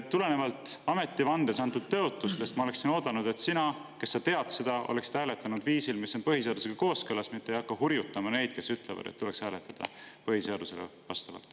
Tulenevalt ametivandes antud tõotustest ma oleksin oodanud, et sina, kes sa tead seda, oleksid hääletanud viisil, mis on põhiseadusega kooskõlas, mitte ei hakkaks hurjutama neid, kes ütlevad, et tuleks hääletada põhiseadusele vastavalt.